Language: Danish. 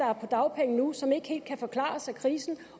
er på dagpenge nu som ikke helt kan forklares af krisen